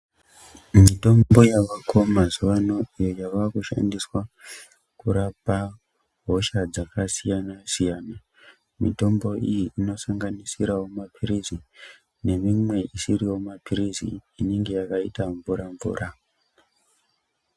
Mitombo yavako mazuwano iyo yakushandiswa kurapa hosha dzakasiyana siyana mitombo iyi inosanganisirawo mapirizi nemimwe isiriwo mapirizi inenge yakaita mvura mvura.